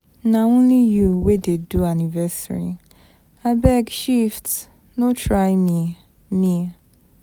Na only you wey dey do anniversary. Abeg shift, no try me. me.